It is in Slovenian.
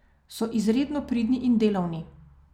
So izredno pridni in delavni.